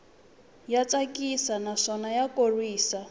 ya tsakisa naswona ya khorwisa